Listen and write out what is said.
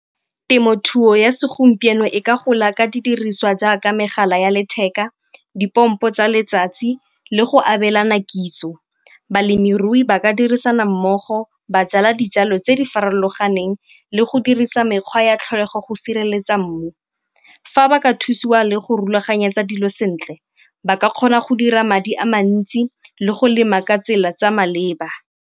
Temothuo ya segompieno e ka gola ka didiriswa jaaka megala ya letheka, dipompo tsa letsatsi le go abelana kitso. Balemirui ba ka dirisana mmogo ba jala dijalo tse di farologaneng le go dirisa mekgwa ya tlholego go sireletsa mmu. Fa ba ka thusiwa le go rulaganyetsa dilo sentle ba ka kgona go dira madi a mantsi le go lema ka tsela tsa maleba.